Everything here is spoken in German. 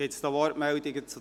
Gibt es Wortmeldungen dazu?